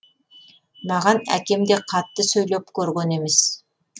маған әкем де қатты сөйлеп көрген емес